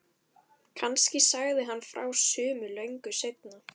Kannski sagði hann frá sumu löngu seinna.